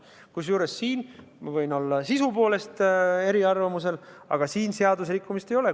Kusjuures ma võin küll sisu poolest eri arvamusel olla, aga siin seaduserikkumist ei ole.